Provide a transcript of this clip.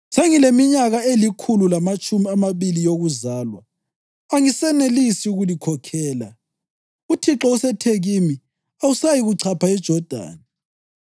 “Sengileminyaka elikhulu lamatshumi amabili yokuzalwa angisenelisi ukulikhokhela. UThixo usethe kimi, ‘Awusayi kuchapha iJodani.’